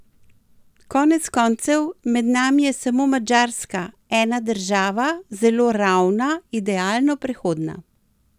Konec koncev, med nami je samo Madžarska, ena država, zelo ravna, idealno prehodna.